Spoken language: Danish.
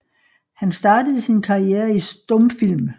Han startede sin karriere i stumfilm